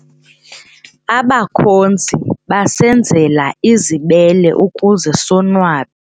Abakhozi basenzela izibele ukuze sonwabe.